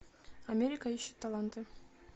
америка ищет таланты